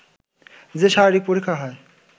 যে শারীরিক পরীক্ষা হয়